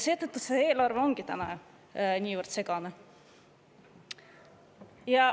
Seetõttu see eelarve ongi niivõrd segane.